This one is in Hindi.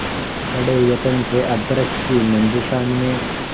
बड़े यत्न से अभ्र्रक की मंजुषा में